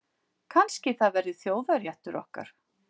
Kannski það verði þjóðarréttur okkar.